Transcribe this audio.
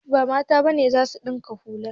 Ba Mata ba ne za su ɗinka hula.